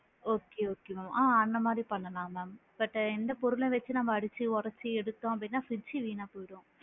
Okay okay mam ஆ அந்த மாதிரி பண்ணலாம் mam but இந்த பொருள வச்சு அடிச்சு உடச்சு எடுத்தோம் அப்படின்னா fridge சு வீணா போயிடும்.